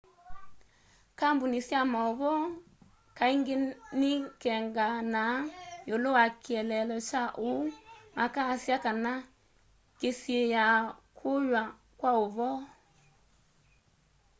kambuni sya mauvoo kaingi ni'ikenganaa iulu wa kieleelo kya uu makasya kana ni kisiia kuyw'a kwauvoo